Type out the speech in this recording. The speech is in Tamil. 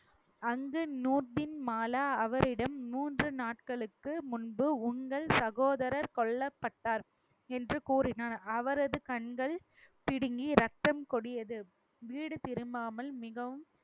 அங்கு நூர்ஜின் மாலா அவரிடம் மூன்று நாட்களுக்கு முன்பு உங்கள் சகோதரர் கொல்லப்பட்டார் என்று கூறினார் அவரது கண்கள் பிடுங்கி ரத்தம் கொடியது வீடு திரும்பாமல் மிகவும்